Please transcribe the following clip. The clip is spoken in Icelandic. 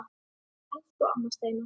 Elsku amma Steina.